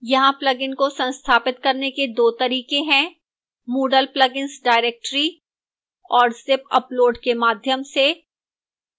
यहां plugin को संस्थापित करने के 2 तरीके हैंmoodle plugins directory और zip upload के माध्यम से